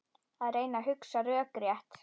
Að reyna að hugsa rökrétt